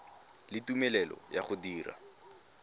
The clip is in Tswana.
le tumelelo ya go dira